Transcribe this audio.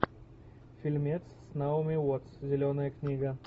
фильмец с наоми уоттс зеленая книга